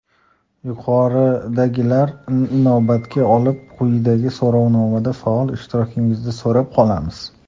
Yuqoridagilarni inobatga olib, quyidagi so‘rovnomada faol ishtirokingizni so‘rab qolamiz.